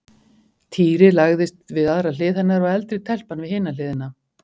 Týri lagðist við aðra hlið hennar og eldri telpan við hina hliðina.